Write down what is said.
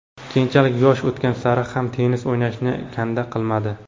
Keyinchalik yosh o‘tgan sari ham tennis o‘ynashni kanda qilmadi.